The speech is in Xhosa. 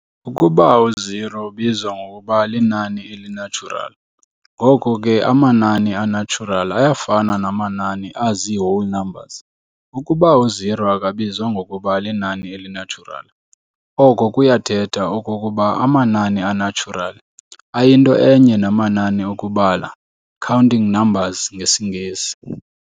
Ukuba u-0 ubizwa ngokuba linani eli-natural, ngoko ke amanani a-natural ayafana namanani azii-whole numbers. Ukuba u-0 akabizwa ngokuba linani eli-natural, oko kuyathetha okokuba amanani a-natural ayinto enye namanani okubala, counting numbers ngesiNgesi.